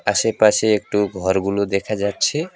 আশেপাশে একটু ঘর গুলো দেখা যাচ্ছে।